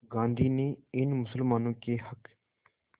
गांधी ने इन मुसलमानों के हक़